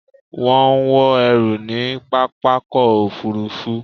Wọ́n ń wọn ẹrù ní pápákọ̀-òfurufú